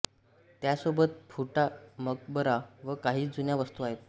त्यासोबत फुटा मकबरा व काही जुन्या वस्तू आहेत